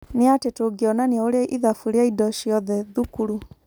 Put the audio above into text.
Nĩatĩ tũngĩonania ũrĩa ithabu rĩa indo ciothe thukuru ?